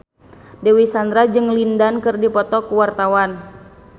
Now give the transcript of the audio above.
Dewi Sandra jeung Lin Dan keur dipoto ku wartawan